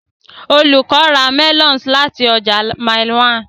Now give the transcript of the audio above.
Olùkọ́ ra melons láti ọjà Mile 1.